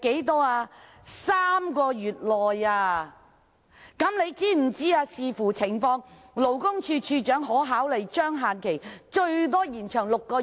是3個月內；他又知否勞工處處長可視乎情況考慮將限期最多延長至6個月？